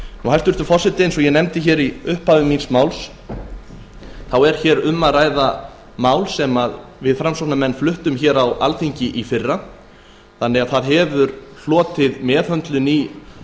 hæstvirtur forseti eins og ég nefndi í upphafi er um að ræða mál sem við framsóknarmenn fluttum á alþingi í fyrra og því hefur það hlotið meðhöndlun í